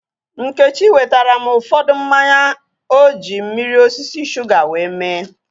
Nkechi wetara m ụfọdụ mmanya oji mmiri osisi shuga wee mee